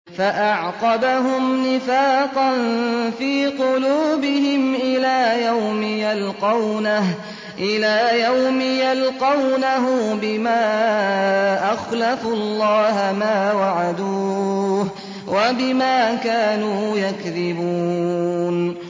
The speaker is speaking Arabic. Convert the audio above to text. فَأَعْقَبَهُمْ نِفَاقًا فِي قُلُوبِهِمْ إِلَىٰ يَوْمِ يَلْقَوْنَهُ بِمَا أَخْلَفُوا اللَّهَ مَا وَعَدُوهُ وَبِمَا كَانُوا يَكْذِبُونَ